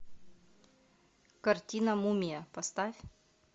картина мумия поставь